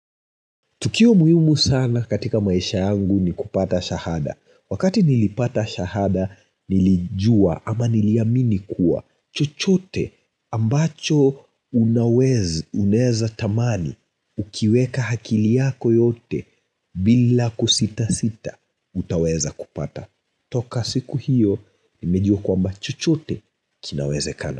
Tukio muhimu sana katika maisha yangu ni kupata shahada. Wakati nilipata shahada nilijua ama niliamini kuwa chochote ambacho unaweza unaeza tamani ukiweka akili yako yote bila kusitasita utaweza kupata. Toka siku hiyo nimejua kwamba chochote kinawezekana.